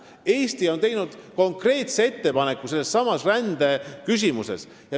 Eesti on teinud konkreetse ettepaneku sellessamas rändeküsimuses.